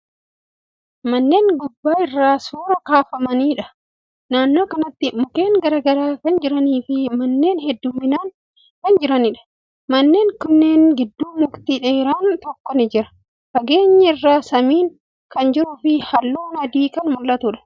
Manneen gubbaa irraa suuraa kaafamaniidha. Naannoo kanatti mukkeen garagaraa kan jiranii fi manneen hedduuminaan kan jiraniidha. Manneen kanneen gidduu mukti dheeraan tokko ni jira. Fageenya irraa samiin kan jiruu fi haalluu adiin kan mul'atuudha.